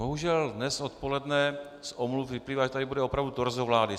Bohužel dnes odpoledne z omluv vyplývá, že tady bude opravdu torzo vlády.